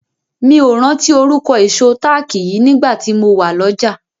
Mi ò rántí orúkọ ìṣó táàkì yìí nígbà tí mo wà lọ́jà.